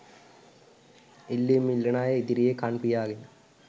ඉල්ලීම් ඉල්ලන අය ඉදිරියේ කන් පියාගෙන